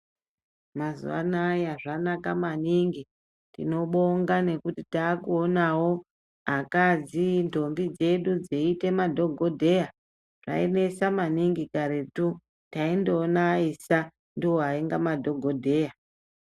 Mazuwano aya zvanaka maningi tinobonga nekuti takuonawo akadzi, ndombi dzedu dzeyite madhogodheya, zvainesa maningi karetu. Taindoona vaisa, ndovainga madhogodheya.